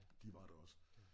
De var der også